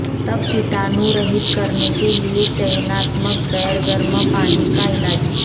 तब कीटाणुरहित करने के लिए चयनात्मक बेर गर्म पानी का इलाज